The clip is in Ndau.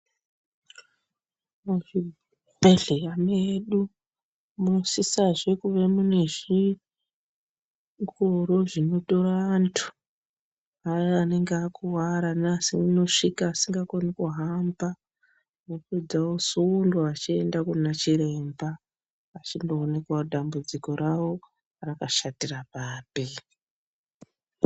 Muzvibhedhleya medu munosisazve kuve mune zvingoro zvinotora antu aya anenge akuwara neaya anosvika asingakoni kuhamba vapedza vosundwa vachienda Kuna chiremba vachindooneka kuti dambudziko ravo rakashatira papi.